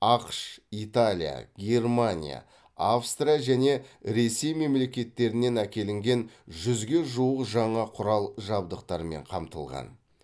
ақш италия германия австрия және ресей мемлекеттерінен әкелінген жүзге жуық жаңа құрал жабдықтармен қамтылған